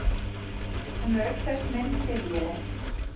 Hún er auk þess minn fyrirliði.